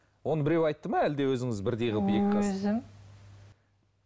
оны біреу айтты ма әлде өзіңіз бірдей қылып өзім